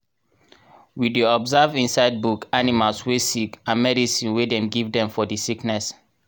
we dey observe inside book animals wey sick and medicine wey dem give dem for di sickness.